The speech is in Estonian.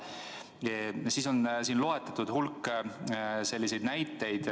Lisaks on loetletud hulk näiteid rühmadest.